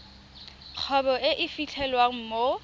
kgwebo e e fitlhelwang mo